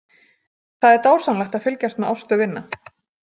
Það er dásamlegt að fylgjast með Ástu vinna.